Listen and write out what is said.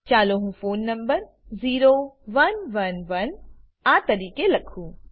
ચાલો હું phone number 0111આ તરીકે લખું